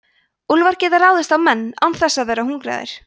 úlfar geta ráðist á menn án þess að vera hungraðir